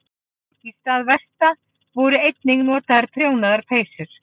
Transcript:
Í stað vesta voru einnig notaðar prjónaðar peysur.